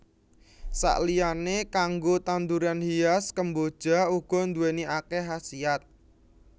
Saliyané kanggo tanduran hias kemboja uga nduwèni akèh khasiyat